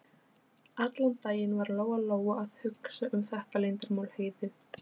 Allan daginn var Lóa Lóa að hugsa um þetta leyndarmál Heiðu.